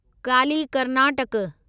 Kali Karnataka